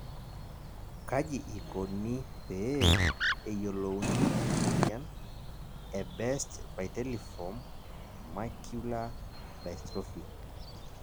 kaji ikoni pee eyiolouni ena moyian e Best vitelliform macular dystrophy ?